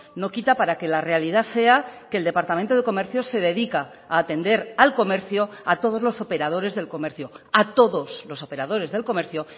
no quita para que la realidad sea que el departamento de comercio se dedica a atender al comercio a todos los operadores del comercio a todos los operadores del comercio